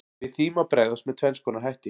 Við því má bregðast með tvenns konar hætti.